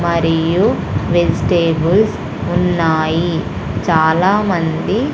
మరియు వెజిటేబుల్స్ ఉన్నాయి చాలామంది.